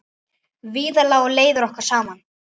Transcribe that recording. Víðar lágu leiðir okkar saman.